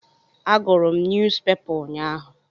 Agụrụ m nyuuzpepa ụnyaahụ.